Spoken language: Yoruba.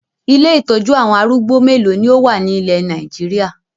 Ilé ìtọ́jú àwọn arúgbó mélòó ni ó wà ní ilẹ̀ Nàìjíríà?